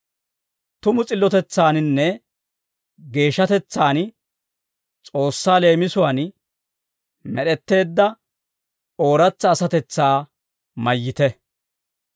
Tumu s'illotetsaaninne geeshshatetsaan S'oossaa leemisuwaan med'etteedda ooratsa asatetsaa mayyite.